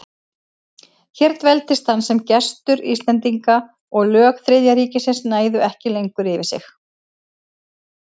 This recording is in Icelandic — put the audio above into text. Hér dveldist hann sem gestur Íslendinga, og lög Þriðja ríkisins næðu ekki lengur yfir sig.